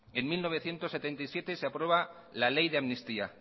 en mil novecientos setenta y siete se aprueba la ley de amnistía